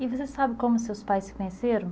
E você sabe como seus pais se conheceram?